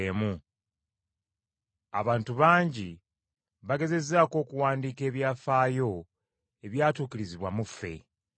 Abantu bangi bagezezzaako okuwandiika ebyafaayo ebyatuukirizibwa mu ffe,